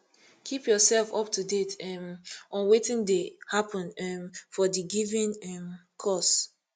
keep yourself up to date um on wetin dey happen um for di given um cause